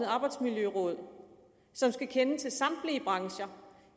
arbejdsmiljøråd som skal kende til samtlige brancher